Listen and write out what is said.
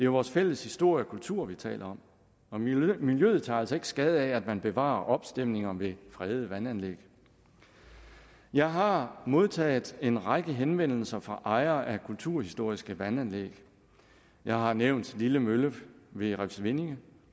vores fælles historie og kultur vi taler om og miljøet tager altså ikke skade af at man bevarer opstemninger ved fredede vandanlæg jeg har modtaget en række henvendelser fra ejere af kulturhistoriske vandanlæg jeg har nævnt lille mølle ved refsvindinge